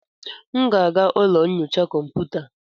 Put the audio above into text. M ga-aga ụlọ nyocha kọmputa.